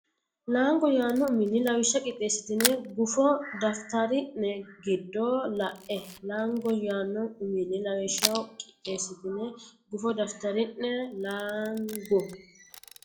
Laango yaanno uminni Lawishsha qixxeessitini gufo daftari ne giddo la e Laango yaanno uminni Lawishsha qixxeessitini gufo daftari ne Laango.